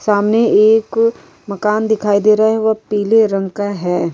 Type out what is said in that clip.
सामने एक अ मकान दिखाई दे रहा है वह पीले रंग का है।